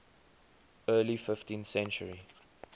early fifteenth century